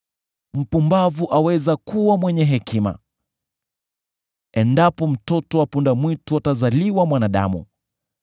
Mpumbavu aweza kuwa mwenye hekima, endapo mtoto wa punda-mwitu atazaliwa mwanadamu.